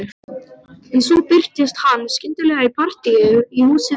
En svo birtist hann skyndilega í partíi í húsi við